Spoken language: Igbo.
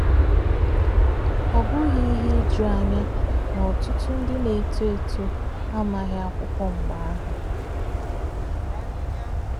Ọ bụghị ihe ijuanya na ọtụtụ ndị na-eto eto amaghị akwụkwọ mgbe ahụ